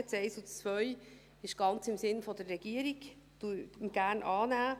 Die Planungserklärung 1 und 2 sind ganz im Sinn der Regierung: gerne annehmen.